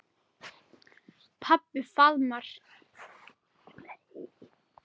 Pabbi faðmaði